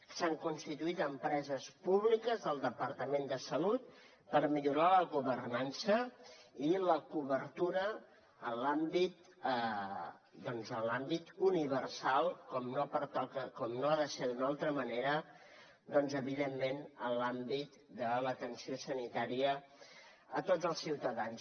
s’hi han constituït empreses públiques del departament de salut per millorar la governança i la cobertura en l’àmbit universal com no ha de ser d’una altra manera doncs evidentment en l’àmbit de l’atenció sanitària a tots els ciutadans